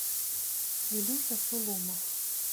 илюша сулумов